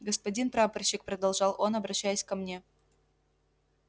господин прапорщик продолжал он обращаясь ко мне